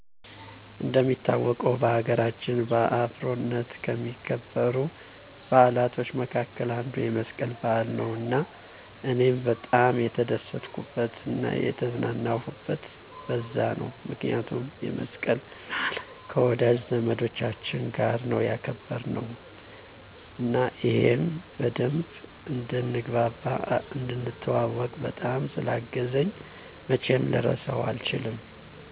እንደሚታወቀው በሀገራችን በአብሮነት ከሚከበሩ በዓላቶች መካከል አንዱ የመስቀል በዓል ነው እና እኔም በጣም የተደሰትኩበት እና የተዝናናሁበት በዛ ነው ምክንያቱም የመስቀልን በዓል ከወዳጅ ዘመዶቻች ጋር ነው ያከበርነው እና ይህም በደንብ እንድንግባባ፣ እንድንተዋዎቅ፣ በጣም ስላገዘኝ መቼም ልረሳው አልችልም